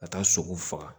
Ka taa sogo faga